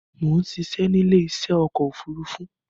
Mo ń ṣiṣẹ́ ni ile isẹ́ ọkọ̀ òfúrúúfú